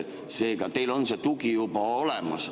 Seega, teil on see tugi juba olemas.